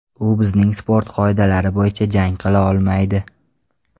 U bizning sport qoidalari bo‘yicha jang qila olmaydi.